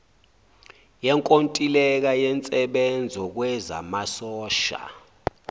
yenkontileka yensebenzo kwezamasosha